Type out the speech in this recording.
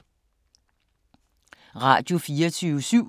Radio24syv